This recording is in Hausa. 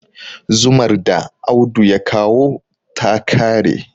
zumar da Audu ya kawo ta kare